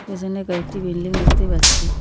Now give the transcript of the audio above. পিসনে কয়েকটি বিল্ডিং দেখতে পাচ্ছি।